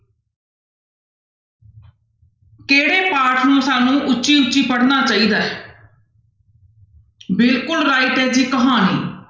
ਕਿਹੜੇ ਪਾਠ ਨੂੰ ਸਾਨੂੰ ਉੱਚੀ ਉੱਚੀ ਪੜ੍ਹਨਾ ਚਾਹੀਦਾ ਹੈ ਬਿਲਕੁਲ right ਹੈ ਜੀ ਕਹਾਣੀ।